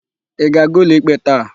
Ị ga-aga ụlọikpe taa?